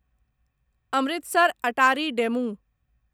Amritsar Attari DEMU